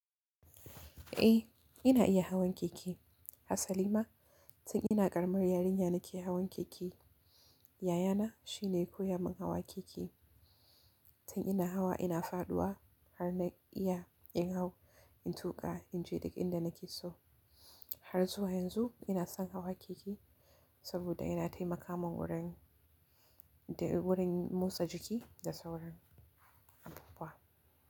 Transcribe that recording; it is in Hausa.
Eh yana iya hawan keke. Asali ma tun ina ƙaramar yarinya nake hawan keke. Yayana shine ya koya min hawa keke. Tun ina hawa ina faɗuwa har na iya in hau, in tuƙa, in je duk inda nake so. Har zuwa yanzu ina son hawa keke saboda yana taimaka min wurin, wurin motsa jiki da sauransu.